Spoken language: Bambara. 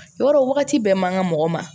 Yɔrɔ wagati bɛɛ man ka mɔgɔ ma